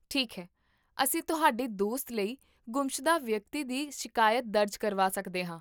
ਠੀਕ ਹੈ, ਅਸੀਂ ਤੁਹਾਡੇ ਦੋਸਤ ਲਈ ਗੁੰਮਸ਼ੁਦਾ ਵਿਅਕਤੀ ਦੀ ਸ਼ਿਕਾਇਤ ਦਰਜ ਕਰਵਾ ਸਕਦੇ ਹਾਂ